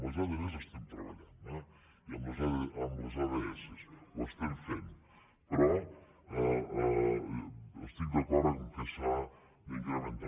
amb les adv hi estem treballant eh i amb els ads ho estem fent però estic d’acord que s’ha d’incrementar